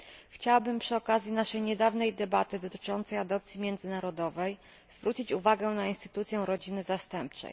Chciałabym przy okazji naszej niedawnej debaty dotyczącej adopcji międzynarodowej zwrócić uwagę na instytucję rodziny zastępczej.